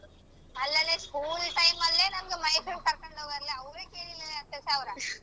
ಅಲ್ಲಲೇ school time ಅಲ್ಲೇ ನಮ್ಗ್ ಮೈಸೂರಿಗ್ ಕರ್ಕೊಂಡ್ ಹೋಗರಲ್ಲ ಅವ್ರೆ ಕೇಳಿಲ್ಲ ಹತ್ತು ಸಾವ್ರ